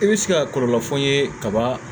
I bɛ se ka kɔlɔlɔ fɔ n ye kaba